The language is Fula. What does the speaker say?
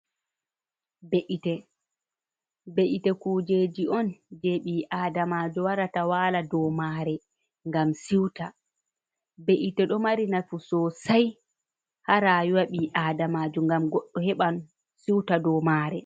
Be’ite kujeji on je ɓi'aadamajo warata wala do mare ngam siuta, be’ite do mari nafu sosai ha rayuwa ɓi aadamajo, ngam heɓan siuta do mare.